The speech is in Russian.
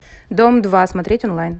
дом два смотреть онлайн